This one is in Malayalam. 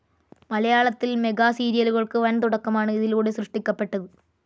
മലയാളത്തിൽ മെഗാസീരിയലുകൾക്ക് വൻതുടക്കമാണ് ഇതിലൂടെ സൃഷ്ടിക്കപ്പെട്ടത്.